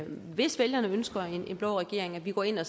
hvis vælgerne ønsker blå regering går ind og